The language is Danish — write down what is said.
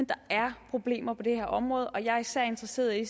der er problemer på det her område og jeg er især interesseret i